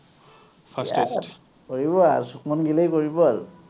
কৰিবই আৰু সুভম গিলেই কৰিব আৰু